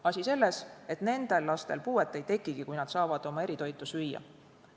Asi on selles, et nendel lastel puuet ei tekigi, kui nad saavad eritoitu süüa.